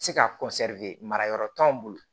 Se ka mara yɔrɔ t'anw bolo